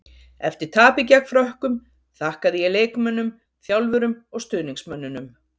Eftir tapið gegn Frökkum, þakkaði ég leikmönnum, þjálfurum og stuðningsmönnunum.